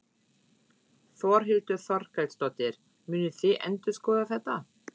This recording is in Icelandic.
Þórhildur Þorkelsdóttir: Munið þið endurskoða þetta?